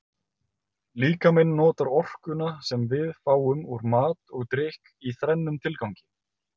Líkaminn notar orkuna sem við fáum úr mat og drykk í þrennum tilgangi.